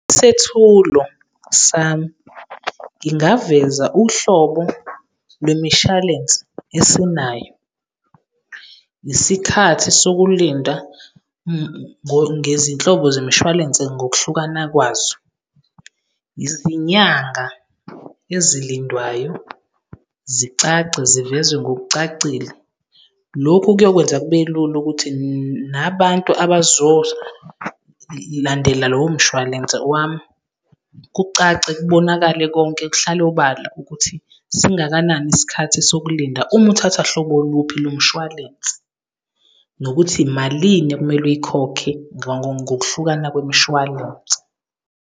Isethulo sami, ngingaveza uhlobo lwemishalense esinayo, isikhathi sokulinda ngezinhlobo zomshwalense ngokuhlukana kwazo, izinyanga ezilindwayo, zicace, zivezwe ngokucacile. Lokhu kuyokwenza kube lula ukuthi nabantu abazolandela lowo mshwalense wami kucace, kubonakale konke kuhlale obala ukuthi singakanani isikhathi sokulinda uma uthatha hlobo luphi lomshwalense, nokuthi imalini okumele uyikhokhe ngokuhlukana kwemishwalense.